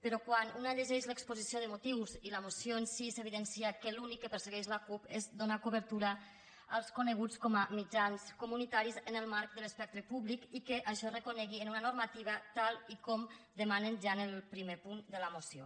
però quan una llegeix l’exposició de motius i la moció en si s’evidencia que l’únic que persegueix la cup és donar cobertura als coneguts com a mitjans comunitaris en el marc de l’espectre públic i que això es reconegui en una normativa tal com demanen ja en el primer punt de la moció